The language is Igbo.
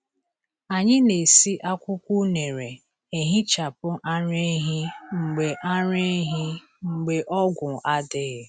Anyị na-esi akwụkwọ unere ehichapụ ara ehi mgbe ara ehi mgbe ọgwụ adịghị.